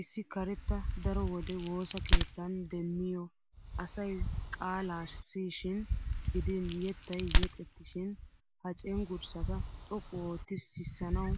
Issi karetta daro wode woosa keettan demmiyo asay qaalaa siyishin gidin yettay yexettishin ha cenggurssata xoqqu ootti sissanawu